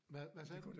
Hvad hvad sagde du?